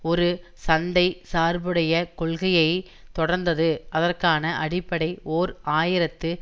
ஒரு சந்தை சார்புடைய கொள்கையை தொடர்ந்தது அதற்கான அடிப்படை ஓர் ஆயிரத்து